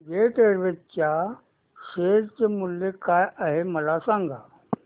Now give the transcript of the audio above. jet Airways च्या share चे मूल्य काय आहे मला सांगा